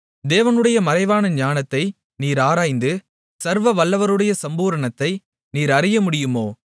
தேவனுடைய மறைவான ஞானத்தை நீர் ஆராய்ந்து சர்வவல்லவருடைய சம்பூரணத்தை நீர் அறியமுடியுமோ